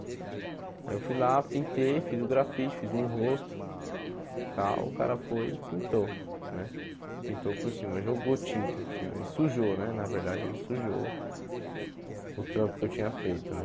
Aí eu fui lá, pintei, fiz o grafite, fiz um rosto e tal, o cara foi e pintou, né, pintou por cima, jogou tinta por cima, ele sujou, né, na verdade ele sujou o trampo que eu tinha feito, né.